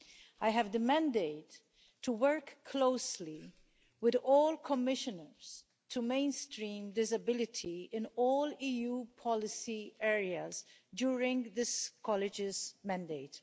I have the mandate to work closely with all Commissioners to mainstream disability in all EU policy areas during this College's mandate.